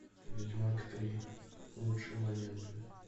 ведьмак три лучшие моменты